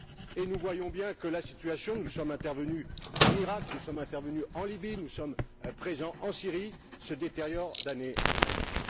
Et nous voyons bien que la situation nous sommes intervenus en Iraq, nous sommes intervenus en Libye, nous sommes présents en Syrie se détériore d'année en année.